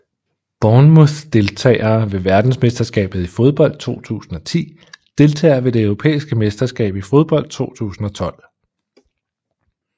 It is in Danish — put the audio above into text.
Bournemouth Deltagere ved verdensmesterskabet i fodbold 2010 Deltagere ved det europæiske mesterskab i fodbold 2012